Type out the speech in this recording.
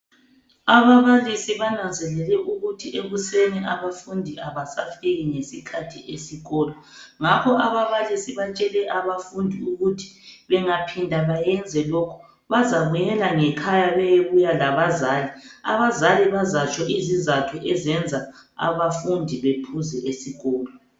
Ababalisi bananzelele ukuthi ekuseni abafundi abasafiki ngesikhathi esikolo ngakho ababalisi batshele abafundi ukuthi bengaphinda bayenze lokhu bazabuyela ngekhaya bayebuya labazali. Abazali bazatsho izizatho ezenza abafundi bephuze esikolo